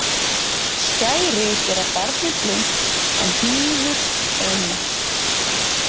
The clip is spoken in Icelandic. Skæri gera barnið blint en hnífur eineygt.